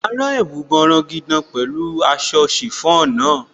Máa rán ẹ̀wù bọrọgidan pẹ̀lú aṣọ chiffon náà.